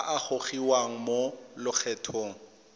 a a gogiwang mo lokgethong